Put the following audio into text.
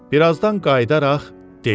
Birazdan qayıdaraq dedi: